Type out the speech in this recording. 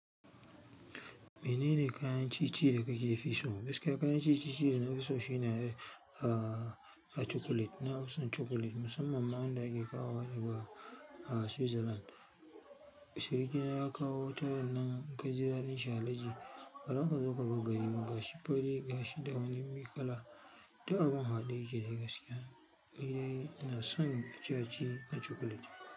Menene kayan ci-ci da kake fi so? Gaskiya kayan ci-ci da na fi so shine, ahh, chocolate. Na fi son chocolate, musamman ma wanda ake kawo daga, ahh, Switzerland. Sirikina ya kawo wata rannan in kaji daɗin shi alhaji. Baza kaso kabari abu gashi fari, gashi da wani milk kala da abun haɗe yake da gaskiya. Ni dai ina son ciye-ciye na chocolate.